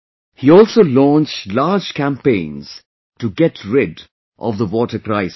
He also launched large campaigns to get rid of the water crisis